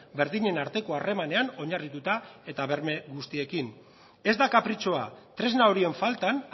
berdinen arteko harremanean oinarrituta eta berme guztiekin ez da kapritxoa tresna horien faltan